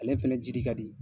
Ale fana jiidi ka di